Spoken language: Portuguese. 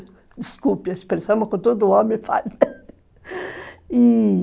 Desculpe a expressão, mas com todo homem falha e